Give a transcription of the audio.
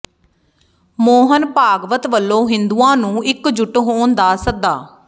ਮੋਹਨ ਭਾਗਵਤ ਵੱਲੋਂ ਹਿੰਦੂਆਂ ਨੂੰ ਇਕਜੁੱਟ ਹੋਣ ਦਾ ਸੱਦਾ